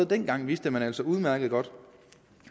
dengang vidste man altså udmærket godt